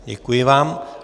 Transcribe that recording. Děkuji vám.